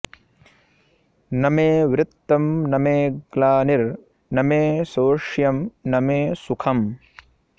न मे वृत्तं न मे ग्लानिर्न मे शोष्यं न मे सुखम्